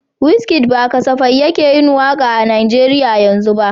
Wizkid ba kasafai yake yin waka a Najeriya yanzu ba.